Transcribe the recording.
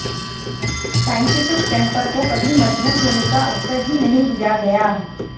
scientific temper को कभी मजबूत होने का अवसर ही नहीं दिया गया